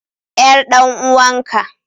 Yar dan uwanka.